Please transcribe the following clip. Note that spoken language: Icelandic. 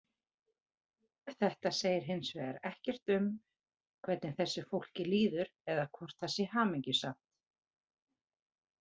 Þetta segir hins vegar ekkert um hvernig þessu fólki líður eða hvort það sé hamingjusamt.